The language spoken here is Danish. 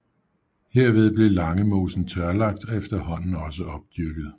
Herved blev Langemosen tørlagt og efterhånden også opdyrket